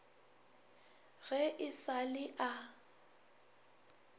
ge e sa le a